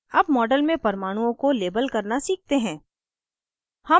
अब model में परमाणुओं को label करना सीखते हैं